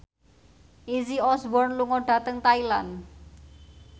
Izzy Osborne lunga dhateng Thailand